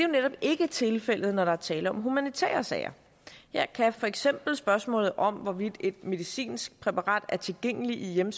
netop ikke tilfældet når der er tale om humanitære sager her kan for eksempel spørgsmålet om hvorvidt et medicinsk præparat er tilgængeligt i en